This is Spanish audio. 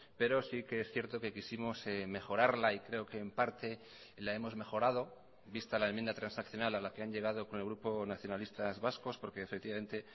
pero sí que es cierto que quisimos mejorarla y creo que en parte la hemos mejorado vista la enmienda transaccional a la que han llegado con el grupo nacionalistas vascos porque efectivamente